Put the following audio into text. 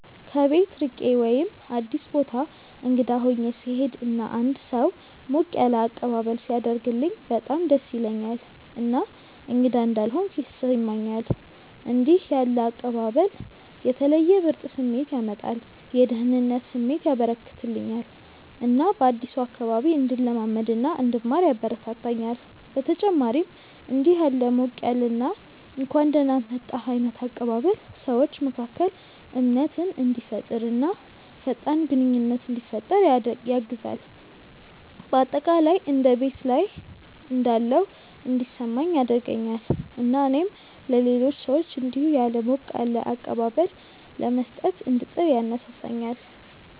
ከቤት ርቄ ወይም አዲስ ቦታ እንግዳ ሆኜ ስሄድ እና አንድ ሰው ሞቅ ያለ አቀባበል ሲያደርግልኝ በጣም ደስ ይለኛል እና እንግዳ እንዳልሆንኩ ያስሰማኛል። እንደዚህ ያለ አቀባበል የተለየ ምርጥ ስሜት ያመጣል፤ የደህንነት ስሜት ያበረከተልኛል እና በአዲሱ አካባቢ እንድለማመድ እና እንድማር ያበረታታኛል። በተጨማሪም እንዲህ ያለ ሞቅ ያለ እና እንኳን ደህና መጣህ ዓይነት አቀባበል ሰዎች መካከል እምነትን እንዲፈጠር እና ፈጣን ግንኙነት እንዲፈጠር ያግዛል። በአጠቃላይ እንደ ቤት ላይ እንዳለሁ እንዲሰማኝ ያደርገኛል እና እኔም ለሌሎች ሰዎች እንዲሁ ያለ ሞቅ ያለ አቀባበል ለመስጠት እንድጥር ያነሳሳኛል።